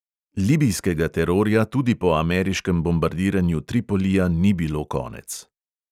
Libijskega terorja tudi po ameriškem bombardiranju tripolija ni bilo konec.